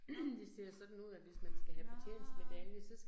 Nåh, nåh